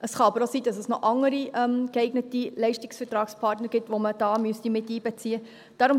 Es kann aber auch sein, dass es noch andere geeignete Leistungsvertragspartner gibt, die man da miteinbeziehen müsste.